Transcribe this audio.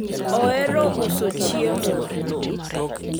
ohero uso chiemo